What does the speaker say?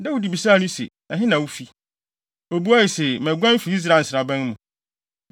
Dawid bisaa no se, “Ɛhe na wufi?” Obuae se, “Maguan afi Israel nsraban mu.”